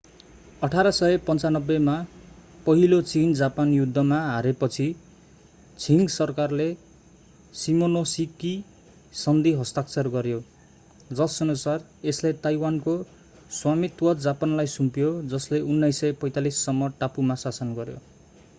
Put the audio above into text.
1895 मा पहिलो चीन-जापान युद्ध 1894-1895 मा हारेपछि छिङ सरकारले सिमोनोसेकी सन्धी हस्ताक्षर गर्‍यो जसअनुसार यसले ताइवानको स्वामित्व जापानलाई सुम्पियो जसले 1945 सम्म टापुमा शासन गर्‍यो।